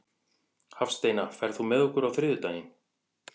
Hafsteina, ferð þú með okkur á þriðjudaginn?